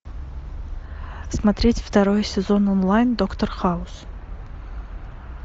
смотреть второй сезон онлайн доктор хаус